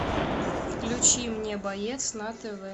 включи мне боец на тв